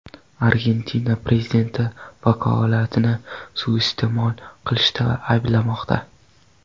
Argentina prezidenti vakolatini suiiste’mol qilishda ayblanmoqda.